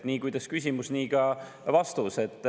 Nii, kuidas küsimus, nii ka vastus.